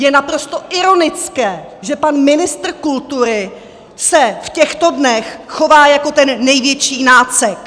Je naprosto ironické, že pan ministr kultury se v těchto dnech chová jako ten největší nácek!